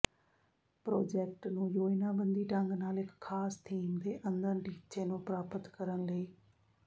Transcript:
project ਨੂੰ ਯੋਜਨਾਬੰਦੀ ਢੰਗ ਨਾਲ ਇੱਕ ਖਾਸ ਥੀਮ ਦੇ ਅੰਦਰ ਟੀਚੇ ਨੂੰ ਪ੍ਰਾਪਤ ਕਰਨ ਲਈ